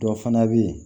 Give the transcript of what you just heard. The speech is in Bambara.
Dɔ fana bɛ yen